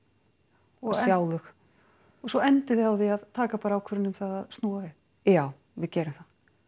og sjá þau og svo endið þið á því að taka bara ákvörðun um að snúa við já við gerum það